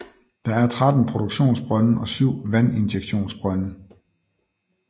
Der er 13 produktionsbrønde og 7 vandinjektionsbrønde